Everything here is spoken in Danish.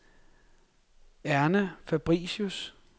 Erna Fabricius